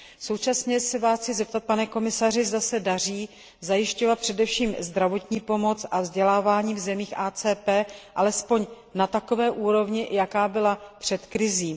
Současně se Vás chci, pane komisaři, zeptat, zda se daří zajišťovat především zdravotní pomoc a vzdělávání v zemích AKT alespoň na takové úrovni, jaká byla před krizí?